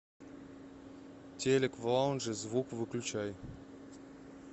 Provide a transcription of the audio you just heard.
телик в лаунже звук выключай